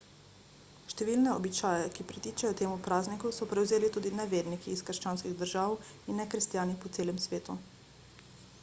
številne običaje ki pritičejo temu prazniku so prevzeli tudi neverniki iz krščanskih držav in nekristjani po celem svetu